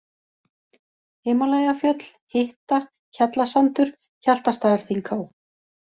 Himalajafjöll, Hitta, Hjallasandur, Hjaltastaðarþinghá